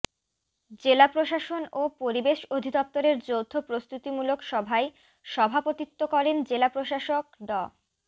জেলা প্রশাসন ও পরিবেশ অধিদফতরের যৌথ প্রস্তুতিমূলক সভায় সভাপতিত্ব করেন জেলা প্রশাসক ড